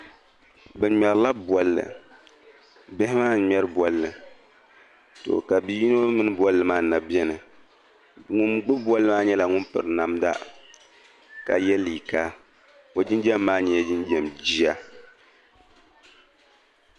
Bɛ ŋmerila bɔlli, bihi maa n ŋmeri bɔlli. to ka bi yinɔ mini bɔlli maa n na beni ŋun gbubi bɔlli maa nyɛla ŋun piri namda, ka ye liiga ɔ jin jam. maa nyɛla jinjam jiya